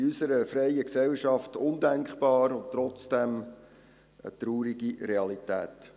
Das ist in unserer freien Gesellschaft undenkbar und trotzdem eine traurige Realität.